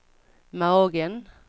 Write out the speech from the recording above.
magen